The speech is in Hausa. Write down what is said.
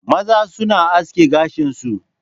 Maza suna aske gashin su